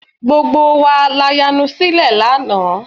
Gbogbo wa la yanu sílẹ̀ lánàá